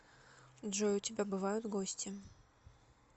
джой у тебя бывают гости